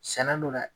Sɛnɛ dɔ la